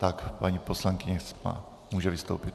Tak, paní poslankyně může vystoupit.